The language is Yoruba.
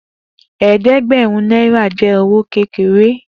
Eedegberun naira jẹ owo kekere.